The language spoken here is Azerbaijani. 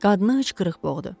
Qadını hıçqırıq boğdu.